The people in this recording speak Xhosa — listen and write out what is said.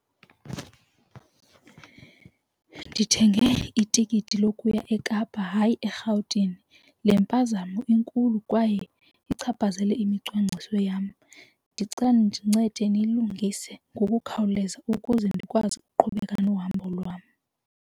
Ndithenge itikiti lokuya eKapa hayi eRhawutini. Le mpazamo inkulu kwaye ichaphazele imicwangciso yam. Ndicela nincede niyilungise ngokukhawuleza ukuze ndikwazi ukuqhubeka nohambo lwam.